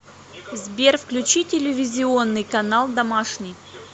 сбер включи телевизионный канал домашний